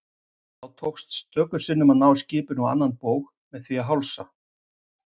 Þá tókst stöku sinnum að ná skipinu á annan bóg með því að hálsa.